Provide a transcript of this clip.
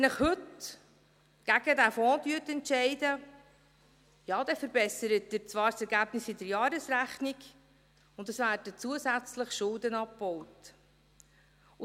Wenn Sie sich heute gegen diesen Fonds entscheiden, ja, dann verbessern Sie zwar das Ergebnis in der Jahresrechnung, und es werden zusätzlich Schulden abgebaut.